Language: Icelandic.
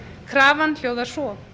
krafan hljóðar svo